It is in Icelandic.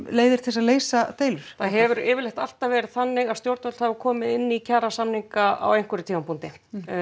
leiðir til að leysa deilur það hefur yfirleitt alltaf verið þannig að stjórnvöld hafa komið inn í kjarasamninga á einhverjum tímapunkti